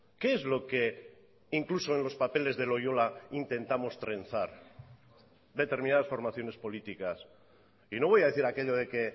qué es lo que incluso en los papeles de loyola intentamos trenzar determinadas formaciones políticas y no voy a decir aquello de que